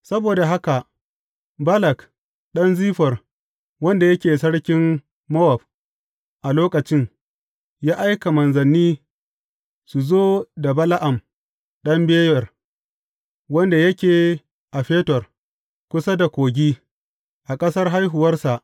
Saboda haka Balak ɗan Ziffor, wanda yake sarkin Mowab a lokacin, ya aika manzanni su zo da Bala’am ɗan Beyor, wanda yake a Fetor, kusa da Kogi, a ƙasar haihuwarsa.